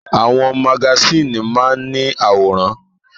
Àwọn magasíìnì máa ń ní àwòrán.